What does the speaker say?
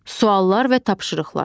Suallar və tapşırıqlar.